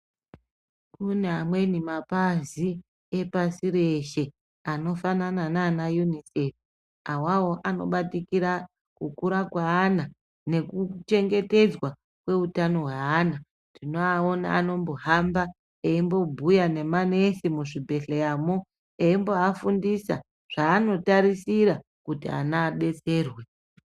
Kune amweni mapazi epasi reshe anofanana naana Unicef awawo anobatikira kukura kweana nekuchengetedzwa kweutano hweana. Tinoaona anombohamba eimbobhobhuya nemanesi muzvibhedhleyamwo eimboafundisa zvaanotarisira kuti ana adetserwe.